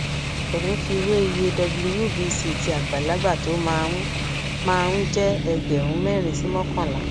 ò ń fi wé iye wbc tí àgbàlagbà tó máa ń máa ń jẹ ẹgbẹrun mẹrin sí mọkànlá